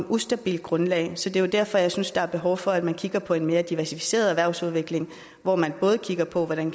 ustabilt grundlag så det er jo derfor jeg synes der er behov for at man kigger på en mere diversificeret erhvervsudvikling hvor man både kigger på hvordan